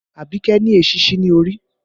Abike ni èsísí ní orí